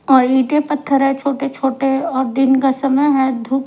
और ईंटें पत्थर है छोटे छोटे और दिन का समय है धूप--